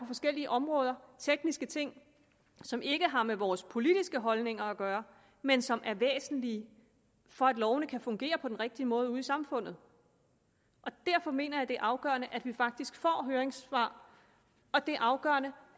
forskellige områder tekniske ting som ikke har med vores politiske holdninger at gøre men som er væsentlige for at lovene kan fungere på den rigtige måde ude i samfundet derfor mener jeg at det er afgørende at vi faktisk får høringssvar og det er afgørende